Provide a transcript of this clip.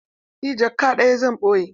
Eh jaka ɗaya zan ɓoye.